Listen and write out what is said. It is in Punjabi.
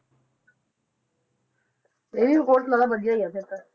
ਇਹ ਵੀ ਬਹੁਤ ਮਤਲਬ ਵਧੀਆ ਹੀ ਆ ਫਿਰ ਤਾਂ।